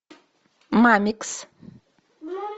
мамикс